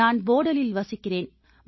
நான் ப் போடலில் வசிக்கிறேன்